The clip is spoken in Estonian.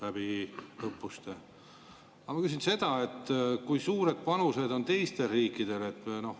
Aga ma küsin seda, et kui suured panused on teistel riikidel.